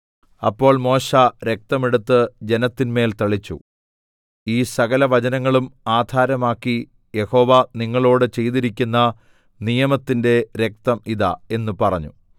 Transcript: അപ്പോൾ മോശെ രക്തം എടുത്ത് ജനത്തിന്മേൽ തളിച്ചു ഈ സകലവചനങ്ങളും ആധാരമാക്കി യഹോവ നിങ്ങളോട് ചെയ്തിരിക്കുന്ന നിയമത്തിന്റെ രക്തം ഇതാ എന്ന് പറഞ്ഞു